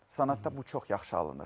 Sənətdə bu çox yaxşı alınır.